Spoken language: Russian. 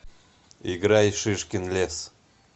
играй шишкин лес